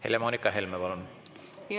Helle-Moonika Helme, palun!